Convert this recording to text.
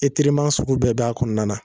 sugu bɛɛ b'a kɔɔna na.